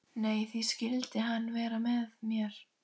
Nei, því skyldi hann vera með mér?